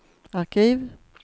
arkiv